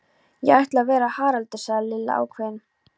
Ég ætla að vera Haraldur sagði Lilla ákveðin.